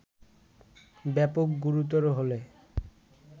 ব্যাপক গুরুতর হলে